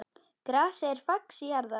Grasið er fax jarðar.